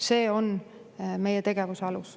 See on meie tegevuse alus.